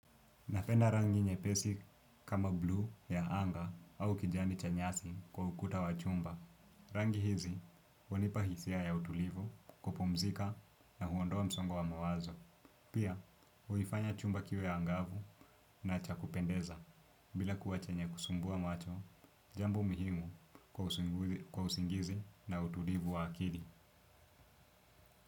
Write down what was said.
Napenda rangi nyepesi kama bluu ya anga au kijani cha nyasi kwa ukuta wa chumba. Rangi hizi hunipa hisia ya utulivu, kupumzika na huondoa msongo wa mawazo. Pia, huifanya chumba kiwe angavu na cha kupendeza. Bila kuwa chenye kusumbua macho, jambu muhimu kwa usingizi na utulivu wa akili.